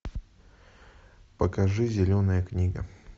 покажи зеленая книга